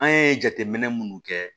An ye jateminɛ munnu kɛ